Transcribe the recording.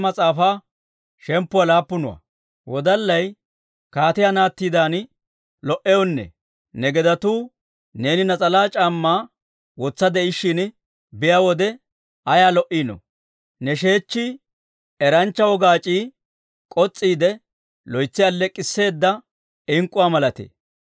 Kaatiyaa naattidan lo"iyaanee! Ne gedetuu neeni nas'alaa c'aammaa wotsi de'ishshin be'iyaa wode, ayaa lo"iino! Ne sheechchii eranchcha wogaac'ii k'os's'iide, loytsi alleek'k'isseeda ink'k'uwaa malatee.